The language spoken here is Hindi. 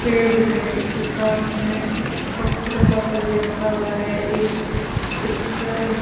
पेड़ दिखाई दे उसके पास में कचरा पात्र भी रखा हुआ है एक इस --